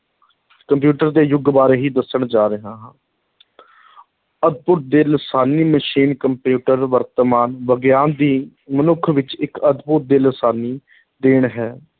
computer ਦੇ ਯੁੱਗ ਬਾਰੇ ਹੀ ਦੱਸਣ ਜਾ ਰਿਹਾ ਹਾਂ ਅਦਭੁਤ ਤੇ ਲਾਸਾਨੀ ਮਸ਼ੀਨ ਕੰਪਿਊਟਰ ਵਰਤਮਾਨ ਵਿਗਿਆਨ ਦੀ ਮਨੁੱਖ ਵਿੱਚ ਇੱਕ ਅਦਭੁਤ ਤੇ ਲਾਸਾਨੀ ਦੇਣ ਹੈ,